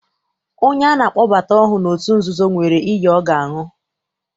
Onye ana akpọbata ọhụụ n'otu nzuzo, nwere iyi ọ ga-aṅụ.